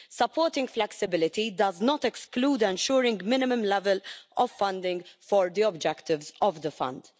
Supporting flexibility does not exclude ensuring a minimum level of funding for the objectives of the Fund.